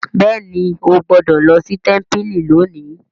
béèni o gbódò ló sí tẹmpili lónì.